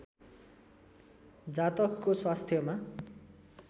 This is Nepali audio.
जातकको स्वास्थ्यमा